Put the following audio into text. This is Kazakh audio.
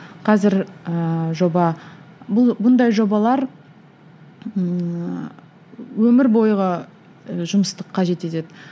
қазір ыыы жоба бұл бұндай жобалар ыыы өмір бойғы ы жұмысты қажет етеді